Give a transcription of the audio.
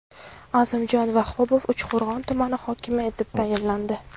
Azimjon Vahobov Uchqo‘rg‘on tumani hokimi etib tayinlandi.